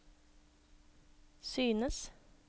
synes